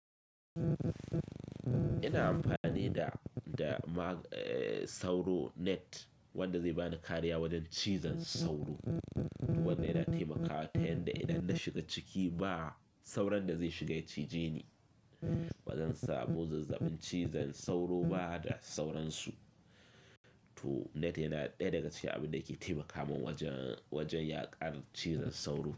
Ina amfani da, da ma-- sauro net wanda zai bani kariya wajen cizon sauro. Wanda yana taimakawa ta yanda idan na shiga ciki ba sauran da zai shiga ya cije ni. Ba zan samu zazzabin cizan sauro ba da sauransu. To net yana ɗaya daga cikin abin da ke taimakawa wajen, wajen yaƙar cizan sauro.